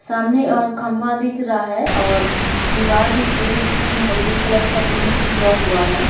सामने अ खम्भा दिख रहा है और दीवार दिख रही जिसमे महरून कलर का पेंट किया हुआ है।